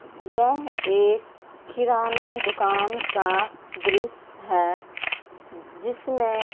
यह एक किराना दुकान का दृश्य है जिसमें--